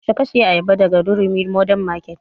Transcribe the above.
Yaushe ka saya ayaba daga durumi modern market?